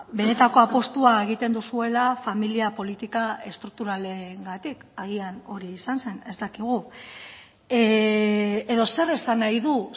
benetako apustua egiten duzuela familia politika estrukturalengatik agian hori izan zen ez dakigu edo zer esan nahi du